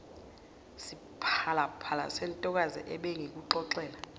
siphalaphala sentokazi ebengikuxoxela